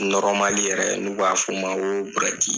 yɛrɛ n'u b'a fɔ u ma ko buruwɛti